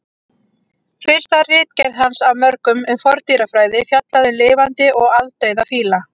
Fyrsta ritgerð hans af mörgum um forndýrafræði fjallaði um lifandi og aldauða fíla.